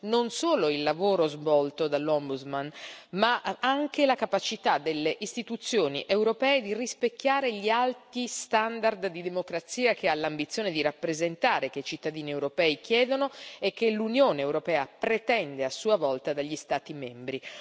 non solo il lavoro svolto dal Mediatore, ma anche la capacità delle istituzioni europee di rispecchiare gli alti standard di democrazia che ha l'ambizione di rappresentare, che i cittadini europei chiedono e che l'Unione europea pretende a sua volta dagli Stati membri.